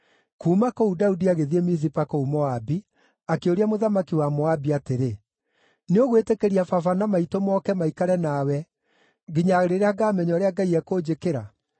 Kuuma kũu, Daudi agĩthiĩ Mizipa kũu Moabi, akĩũria mũthamaki wa Moabi atĩrĩ, “Nĩũgwĩtĩkĩria baba na maitũ moke maikare nawe nginya rĩrĩa ngaamenya ũrĩa Ngai ekũnjĩkĩra?”